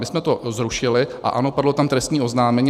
My jsme to zrušili, a ano, padlo tam trestní oznámení.